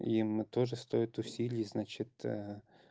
и мы тоже стоит усилий значит